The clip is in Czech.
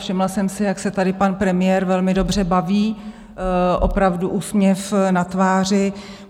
Všimla jsem si, jak se tady pan premiér velmi dobře baví, opravdu úsměv na tváři.